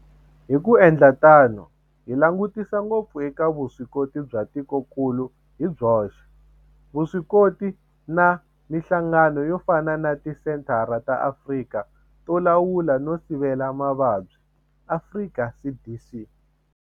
Hi ku endla tano hi langutisa ngopfu eka vuswikoti bya tikokulu hi byoxe, vuswikoti na mihlangano yo fana na Tisenthara ta Afrika to Lawula no Sivela Mavabyi, Afrika CDC.